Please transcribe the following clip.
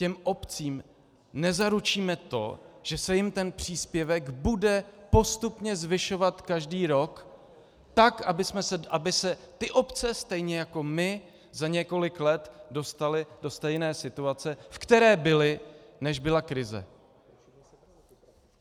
Těm obcím nezaručíme to, že se jim ten příspěvek bude postupně zvyšovat každý rok, tak aby se ty obce, stejně jako my, za několik let dostaly do stejné situace, ve které byly, než byla krize.